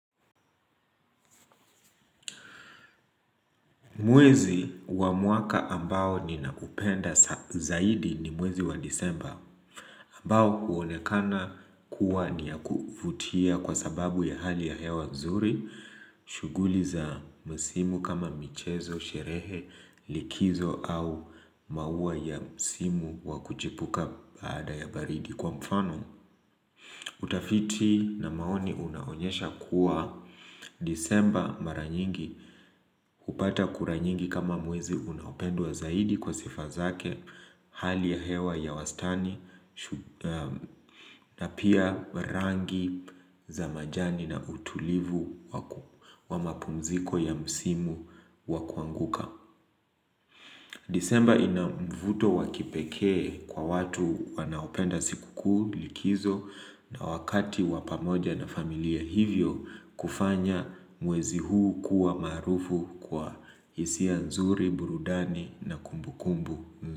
Mwezi wa mwaka ambao ninaupenda zaidi ni mwezi wa disemba ambao uonekana kuwa ni ya kuvutia kwa sababu ya hali ya hewa nzuri shuguli za msimu kama michezo, sherehe, likizo au maua ya msimu wakuchipuka baada ya baridi kwa mfano. Utafiti na maoni unaonyesha kuwa disemba mara nyingi hupata kura nyingi kama mwezi unaopendwa zaidi kwa sifa zake hali ya hewa ya wastani na pia rangi za majani na utulivu wa mapumziko ya msimu wa kuanguka. Disemba ina mvuto wa kipekee kwa watu wanaopenda siku kuu likizo na wakati wa pamoja na familia hivyo kufanya mwezi huu kuwa maarufu kwa hisia nzuri, burudani na kumbu kumbu.